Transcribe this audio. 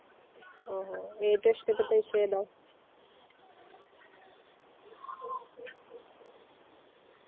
ഓഹോ ഏറ്റവും ഇഷ്ടപ്പെട്ട വിഷയം ഏതാ